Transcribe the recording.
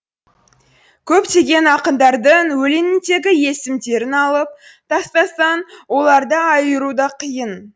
көптеген ақындардың өлеңіндегі есімдерін алып тастасаң оларды айыру да қиын